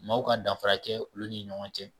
Maaw ka danfara kɛ olu ni ɲɔgɔn cɛ